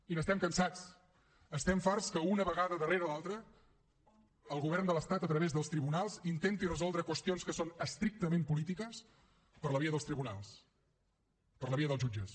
i n’estem cansats estem farts que una vegada darrera l’altra el govern de l’estat a través dels tribunals intenti resoldre qüestions que són estrictament polítiques per la via dels tribunals per la via dels jutges